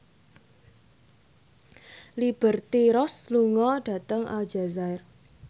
Liberty Ross lunga dhateng Aljazair